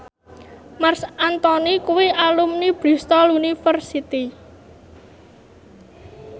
Marc Anthony kuwi alumni Bristol university